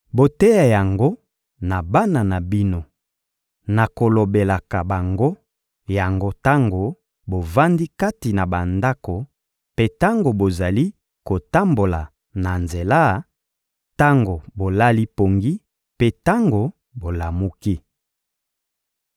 Boteya yango na bana na bino na kolobelaka bango yango tango bovandi kati na bandako mpe tango bozali kotambola na nzela, tango bolali pongi mpe tango bolamuki.